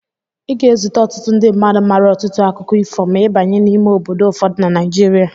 Ị ga-ezute ọtụtụ ndị mmadu maara ọtụtụ akụkọ ifo ma ị banye n'ime obodo ụfọdụ na Naijiria.